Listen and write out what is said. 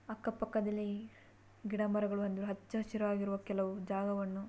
ಅಕ್ಕ ಪಕ್ಕದಲ್ಲಿ ಗಿಡ ಮರಗಳ ಹಚ್ಚ ಹಸಿರು ಇರುವ ಕೆಲವು ಜಾಗವನ್ನು--